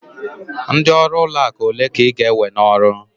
Ndị ọrụ ụlọ akụ ole ka ị ga-ewe n'ọrụ?